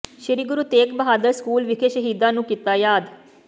ਸ੍ਰੀ Guru Tegh Bahadur school ਵਿਖੇ ਸ਼ਹੀਦਾਂ ਨੂੰ ਕੀਤਾ ਯਾਦ